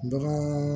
Dɔgɔ